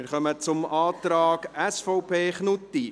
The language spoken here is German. Wir kommen zum Antrag SVP Knutti.